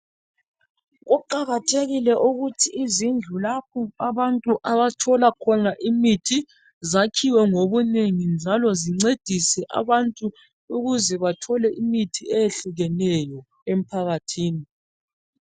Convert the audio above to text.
Kuqakathekile ukuthi izindlu lapha abantu abathola khona imithi, zakhiwe ngobunengi, njalo zincedise abantu ukuze bathole imithi eyehlukeneyo emphakathini.